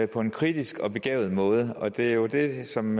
på en kritisk og begavet måde og det er jo det som